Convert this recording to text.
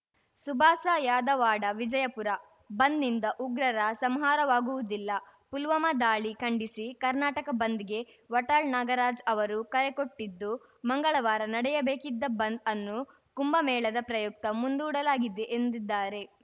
ಸುಭಾಸ ಯಾದವಾಡ ವಿಜಯಪುರ ಬಂದ್‌ನಿಂದ ಉಗ್ರರ ಸಂಹಾರವಾಗುವುದಿಲ್ಲ ಪುಲ್ವಾಮಾ ದಾಳಿ ಖಂಡಿಸಿ ಕರ್ನಾಟಕ ಬಂದ್‌ಗೆ ವಾಟಾಳ್‌ ನಾಗರಾಜ್‌ ಅವರು ಕರೆ ಕೊಟ್ಟಿದ್ದು ಮಂಗಳವಾರ ನಡೆಯಬೇಕಿದ್ದ ಬಂದ್‌ ಅನ್ನು ಕುಂಭಮೇಳದ ಪ್ರಯುಕ್ತ ಮುಂದೂಡಲಾಗಿದೆ ಎಂದಿದ್ದಾರೆ